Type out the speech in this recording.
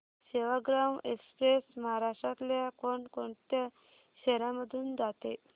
Sevagram express महाराष्ट्रातल्या कोण कोणत्या शहरांमधून जाते